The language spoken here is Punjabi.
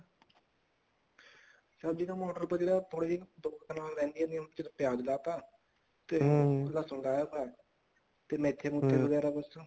ਸਬਜੀਆਂ ਤਾਂ ਜਿਹੜੀ ਮੋਟਰ ਕੋਲ ਜਗ੍ਹਾ ਰਹਿੰਦੀ ਸੀ ਪਿਆਜ ਲਾਤਾ ਲਸਣ ਲਾਤਾ ਤੇ ਮੇਥੇ ਮੁਥੇ ਵਗੈਰਾ ਬੱਸ